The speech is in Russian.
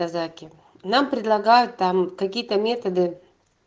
казаки нам предлагают там какие-то методы